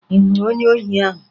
Ị hụrụ onye ohi ahụ?